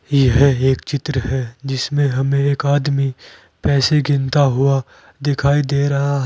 यह एक चित्र है जिसमें हमें एक आदमी पैसे गिनता हुआ दिखाई दे रहा है।